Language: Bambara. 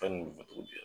Fɛn nin bɛ cogo di